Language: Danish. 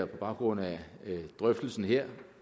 på baggrund af drøftelsen her